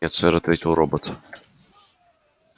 нет сэр ответил робот